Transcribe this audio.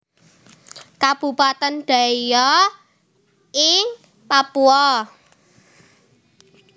Kabupatèn Deiyai ing Papua